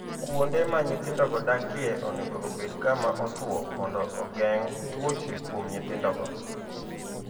Kuonde ma nyithindogo dakie onego obed kama otwo mondo ogeng' tuoche kuom nyithindogo.